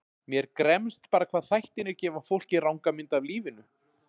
Mér gremst bara hvað þættirnir gefa fólki ranga mynd af lífinu.